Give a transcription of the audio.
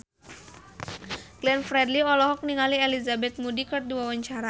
Glenn Fredly olohok ningali Elizabeth Moody keur diwawancara